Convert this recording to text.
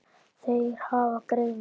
Þeir hafa greini